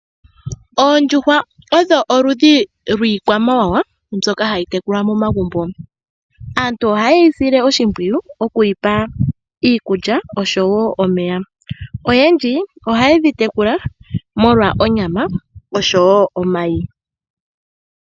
Oondjuhwa odho oludhi lwiikwamawawa mbyoka hayi tekulwa momagumbo . Aantu ohayeyi sile oshimpwiyu oku yipa iikulya oshowo omeya . Oyendji oha yedhi tekula oshowo omayi.